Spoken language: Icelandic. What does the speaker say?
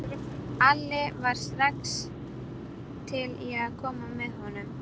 Alli var strax til í að koma með honum.